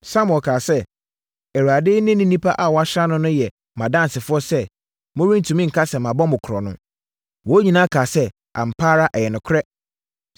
Samuel kaa sɛ, “ Awurade ne ne onipa a wɔasra no no yɛ mʼadansefoɔ sɛ morentumi nka sɛ mabɔ mo korɔno.” Wɔn nyinaa kaa sɛ, “Ampa ara, ɛyɛ nokorɛ!”